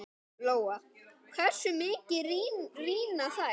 Lóa: Hversu mikið rýrna þær?